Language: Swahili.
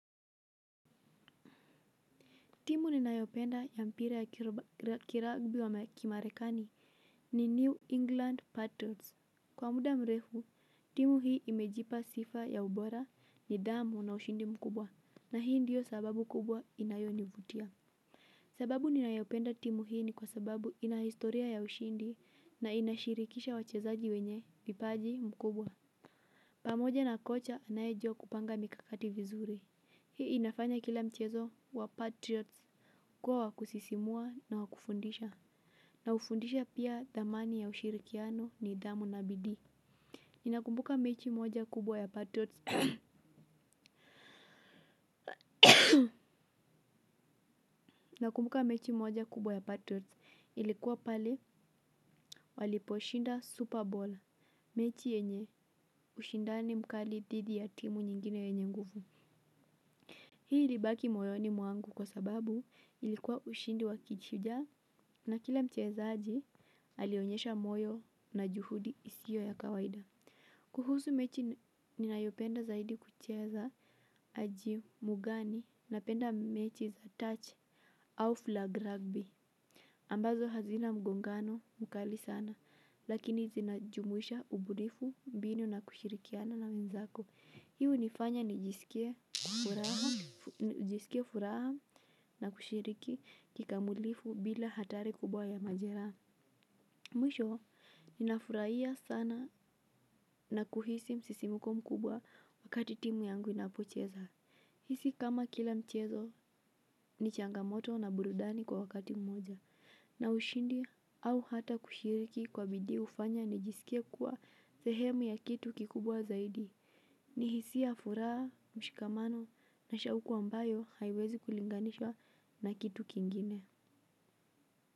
Timu ninayopenda ya mpira ya kiragbi wa kimarekani ni New England Patriots. Kwa muda mrefu, timu hii imejipa sifa ya ubora nidhamu na ushindi mkubwa. Na hii ndiyo sababu kubwa inayonivutia. Sababu ninayopenda timu hii ni kwa sababu ina historia ya ushindi na inashirikisha wachezaji wenye vipaji mkubwa. Pamoja na kocha anayejua kupanga mikakati vizuri. Hii inafanya kila mchezo wa Patriots kuwa wakusisimua na wakufundisha. Na hufundisha pia thamani ya ushirikiano nidhamu na bidii. Inakumbuka mechi moja kubwa ya Patriots ilikuwa pale waliposhinda Super Bowl. Mechi yenye ushindani mkali dhidi ya timu nyingine yenye nguvu. Hii ilibaki moyo ni mwangu kwa sababu ilikuwa ushindi wa kishujaa na kila mchezaji alionyesha moyo na juhudi isiyo ya kawaida. Kuhusu mechi ninayopenda zaidi kucheza aji mugani napenda mechi za touch au flag rugby. Ambazo hazina mgongano mkali sana lakini zinajumuisha ubunifu mbinu na kushirikiana na wenzako. Hii unifanya nijisikie furaha na kushiriki kikamulifu bila hatari kubwa ya majera. Mwisho, ninafuraia sana na kuhisi msisimuko mkubwa wakati timu yangu inapocheza. Hisi kama kila mchezo, ni changamoto na burudani kwa wakati mmoja. Na ushindi au hata kushiriki kwa bidii hufanya nijiskie kuwa sehemu ya kitu kikubwa zaidi. Ni hisia furaha, mshikamano na shauku ambayo haiwezi kulinganishwa na kitu kingine.